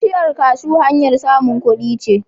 Bishiyar kashu hanyar samun kudi ce.